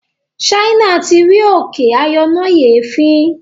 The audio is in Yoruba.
China tí rí òkè ayọnáyèéfín